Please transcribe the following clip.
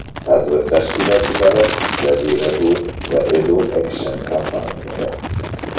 Tadbir tashkilotchilari Jazira Tour va Edu Action kompaniyalari.